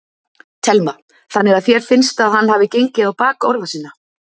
Telma: Þannig að þér finnst að hann hafi gengið á bak orða sinna?